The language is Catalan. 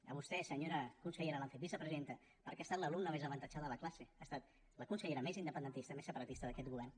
a vostè senyora consellera l’han fet vicepresidenta perquè ha estat l’alumna més avantatjada de la classe ha estat la consellera més independentista més separatista d’aquest govern